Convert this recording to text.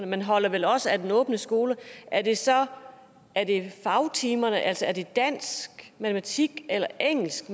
man holder vel også af den åbne skole er det så fagtimerne altså er det dansk matematik eller engelsk